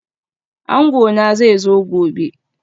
Angona zai zo gobe